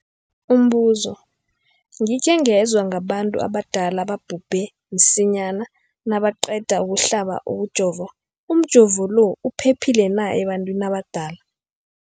Umbuzo, gikhe ngezwa ngabantu abadala ababhubhe msinyana nabaqeda ukuhlaba, ukujova. Umjovo lo uphephile na ebantwini abadala?